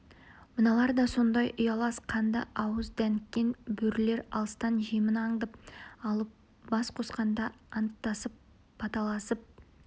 мыналар да сондай ұялас қанды ауыз дәніккен бөрілер алыстан жемін аңдап алып бас қосқанда анттасып баталасып